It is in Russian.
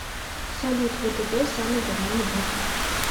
салют втб самый говняный банк